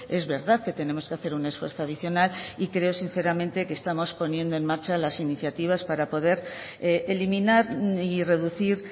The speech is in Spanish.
es verdad que tenemos que hacer un esfuerzo adicional y creo sinceramente que estamos poniendo en marcha las iniciativas para poder eliminar y reducir